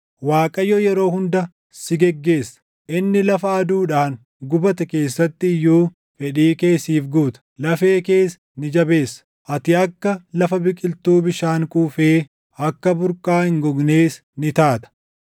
Waaqayyo yeroo hunda si geggeessa; inni lafa aduudhaan gubate keessatti iyyuu // fedhii kee siif guuta; lafee kees ni jabeessa. Ati akka lafa biqiltuu bishaan quufee, akka burqaa hin gognees ni taata.